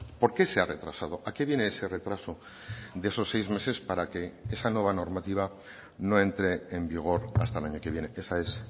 por qué se ha retrasado a qué viene ese retraso de esos seis meses para que esa nueva normativa no entre en vigor hasta el año que viene esa es